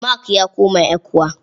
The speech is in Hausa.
Mark ya koma ECWA.